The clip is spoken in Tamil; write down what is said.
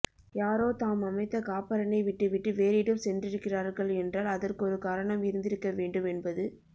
யாரோ தாம் அமைத்த காப்பரணை விட்டுவிட்டு வேறிடம் சென்றிருக்கிறார்கள் என்றால் அதற்கொரு காரணம் இருந்திருக்கவேண்டும் என்பது